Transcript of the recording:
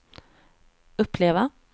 uppleva